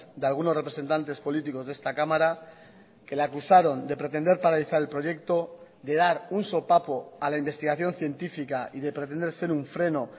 de algunos representantes políticos de esta cámara que le acusaron de pretender paralizar el proyecto de dar un sopapo a la investigación científica y de pretender ser un freno